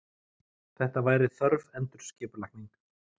Þetta væri þörf endurskipulagning.